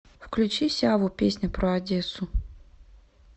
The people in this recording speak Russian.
включи сяву песня про одессу